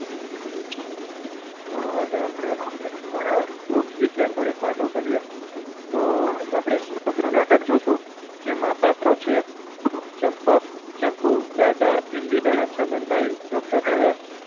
તો આજે આપણે વૃક્ષ વિશે થોડીક વાતો કરીએ તો આપણે નાટક જોશું જેમાં પાતળું છે ચંપક ચકુ દાદા ઇન્દિરા છગનભાઈ doctor દવે